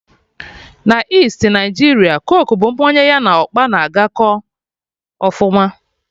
Na Isti Naijiria coke bụ mmanya ya na ọkpa na agakọ ọfụma